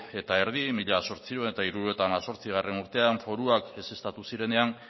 eta erdi mila zortziehun eta hirurogeita hemezortzigarrena urtean foruak ezeztatu zirenean